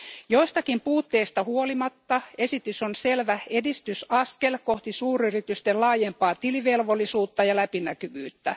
Joistakin puutteista huolimatta esitys on selvä edistysaskel kohti suuryritysten laajempaa tilivelvollisuutta ja läpinäkyvyyttä.